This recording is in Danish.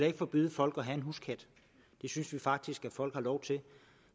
ikke forbyde folk at have en huskat det synes vi faktisk at folk har lov til